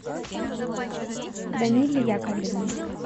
даниле яковлевне